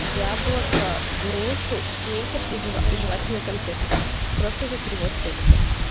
яблоко грушу сникерс жевательные конфеты просто за перевод текста